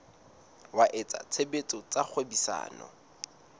wa etsa tshebetso tsa kgwebisano